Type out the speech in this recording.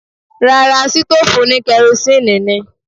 Rárá, sítòòfù oní kerosíínì ni.